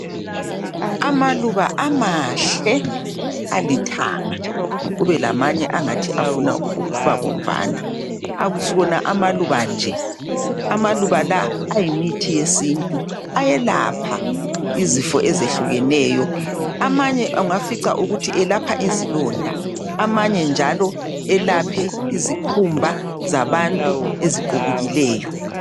Amaluba amahle alithanga kube lamanye angathi afuna ukuba bomvana. Akusiwona amaluba nje. Amaluba la angumuthi wesintu. Ayelapha izifo ezehlukeneyo. Amanye ungafica ukuthi elapha izilonda amanye njalo elapha izikhumba zabantu eziqubukileyo.